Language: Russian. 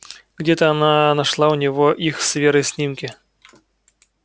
где-то она нашла у него их с верой снимки